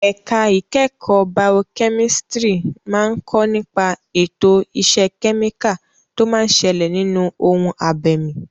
Ẹ̀ka ìkẹ́kọ̀ọ́ baokẹ́mísítírì máa ń kọ́ nípa ètò ìṣe kẹ́míkà tó máa ń ṣẹlẹ̀ nínú ohun abẹ̀mí.